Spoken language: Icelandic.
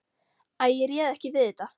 Æ, ég réð ekki við þetta.